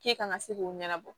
K'e kan ka se k'o ɲɛnabɔ